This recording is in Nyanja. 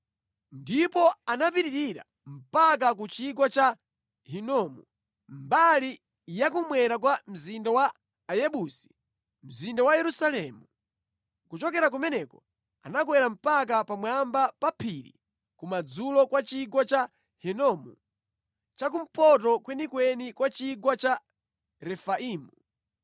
Ndipo anapitirira mpaka ku chigwa cha Hinomu mbali ya kummwera kwa mzinda wa Ayebusi (mzinda wa Yerusalemu). Kuchokera kumeneko anakwera mpaka pamwamba pa phiri kumadzulo kwa chigwa cha Hinomu cha kumpoto kwenikweni kwa chigwa cha Refaimu.